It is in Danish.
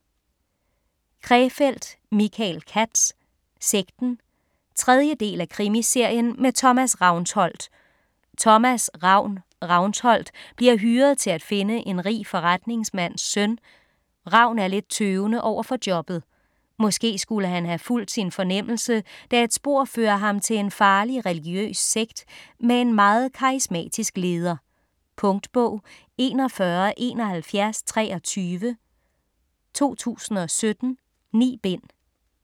Krefeld, Michael Katz: Sekten 3. del af Krimiserien med Thomas Ravnsholdt. Thomas "Ravn" Ravnsholdt bliver hyret til at finde en rig forretningsmands søn. Ravn er lidt tøvende overfor jobbet. Måske skulle han have fulgt sin fornemmelse, da et spor fører ham til en farlig religiøs sekt med en meget karismatisk leder. Punktbog 417123 2017. 9 bind.